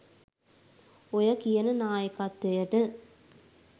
ඔය කියන නායකත්වයට